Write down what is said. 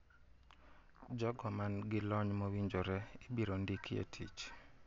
Jogo man gi lony mowinjore ibiro ndiki e tich.